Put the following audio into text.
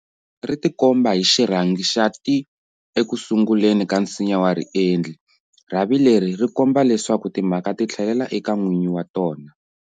Ri tikomba hi xirhangi xa"ti-" eku sunguleni ka nsinya wa riendli. Rhavi leri ri komba leswaku timhaka ti tlhelela eka n'winyi wa tona.